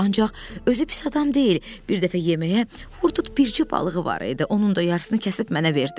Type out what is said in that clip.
Ancaq özü pis adam deyil, bir dəfə yeməyə vurduğu bircə balığı var idi, onun da yarısını kəsib mənə verdi.